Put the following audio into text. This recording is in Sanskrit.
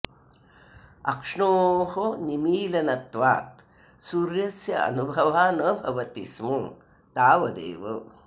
अक्ष्णोः निमिलनत्वात् सूर्यस्य अनुभवः न भवति स्म तावदेव